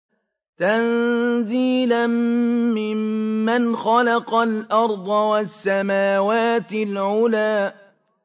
تَنزِيلًا مِّمَّنْ خَلَقَ الْأَرْضَ وَالسَّمَاوَاتِ الْعُلَى